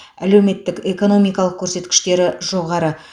әлеуметтік экономикалық көрсеткіштері жоғары